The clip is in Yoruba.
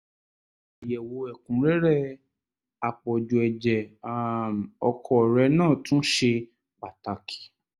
àyẹ̀wò ẹ̀kúnrẹ́rẹ́ àpọ̀jù ẹ̀jẹ̀ um ọkọ rẹ náà tún ṣe pàtàkì